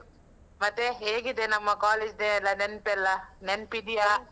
ಮತ್ತೆ, ಹೇಗಿದೆ ನಮ್ಮ college day ಎಲ್ಲ ನೆನ್ಪೆಲ್ಲ? ನೆನಪಿದ್ಯಾ?